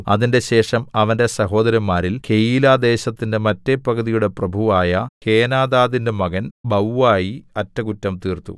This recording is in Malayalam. അതിന്‍റെശേഷം അവന്റെ സഹോദരന്മാരിൽ കെയീലാദേശത്തിന്റെ മറ്റെ പകുതിയുടെ പ്രഭുവായ ഹേനാദാദിന്റെ മകൻ ബവ്വായി അറ്റകുറ്റം തീർത്തു